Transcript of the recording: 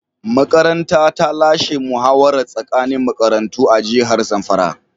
Makaranta ta lashe muhawarar tsakanin makarantu a jihar zamfara.